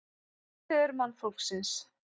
Forfeður mannfólksins